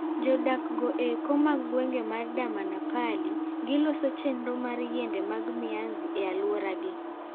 Jodak go eko mag gweng' mar Damanapalli giloso chenro mar yiende mag Mianzi ei aluora gi.